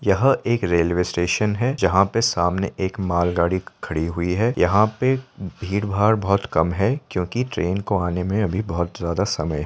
यहाँ एक railway station है जहाँ पे सामने एक माल गाड़ी खड़ी हुई है यहाँ पे भीड़ भाड़ बहुत कम है क्योंकि ट्रेन को आने में अभी बहुत ज़्यादा समय है।